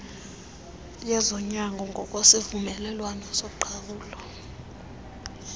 yezonyango ngokwesivumelwano soqhawulo